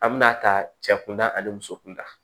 An bɛna ta cɛ kunda ani muso kunda